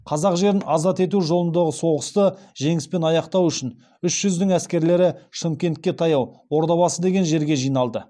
қазақ жерін азат ету жолындағы соғысты жеңіспен аяқтау үшін үш жүздің әскерлері шымкентке таяу ордабасы деген жерге жиналды